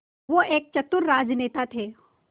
वो एक चतुर राजनेता थे